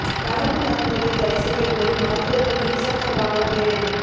கலப்பு மருத்துவத்தை தடை செய்யக் கோரி மருத்துவா்கள் இருசக்கர வாகனப் பேரணி